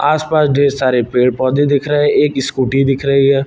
आस पास ढेर सारे पेड़ पौधे दिख रहे एक स्कूटी दिख रही है।